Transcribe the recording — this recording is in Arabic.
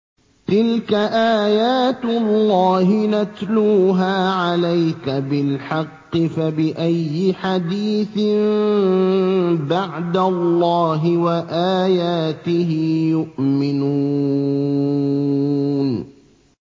تِلْكَ آيَاتُ اللَّهِ نَتْلُوهَا عَلَيْكَ بِالْحَقِّ ۖ فَبِأَيِّ حَدِيثٍ بَعْدَ اللَّهِ وَآيَاتِهِ يُؤْمِنُونَ